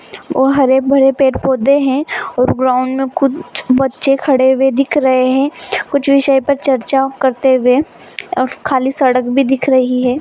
और हरे-भरे पेड़-पौधे है और ग्राउंड में कुछ बच्चे खड़े हुए दिख रहे है कुछ विषय पर चर्चा करते हुए और खाली सड़क भी दिख रही है।